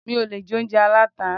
Mi ò lè jẹ oúnjẹ aláta.